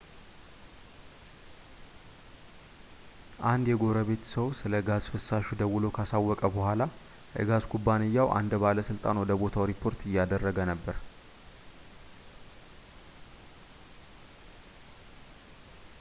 አንድ የጎረቤት ሰው ስለ ጋዝ ፍሳሹ ደውሎ ካሳወቀ በኋላ የጋዝ ኩባንያው አንድ ባለሥልጣን ወደ ቦታው ሪፖርት እያደረገ ነበር